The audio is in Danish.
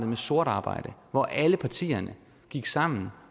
med sort arbejde hvor alle partierne gik sammen